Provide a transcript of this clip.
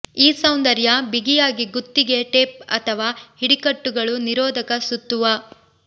ಈ ಸೌಂದರ್ಯ ಬಿಗಿಯಾಗಿ ಗುತ್ತಿಗೆ ಟೇಪ್ ಅಥವಾ ಹಿಡಿಕಟ್ಟುಗಳು ನಿರೋಧಕ ಸುತ್ತುವ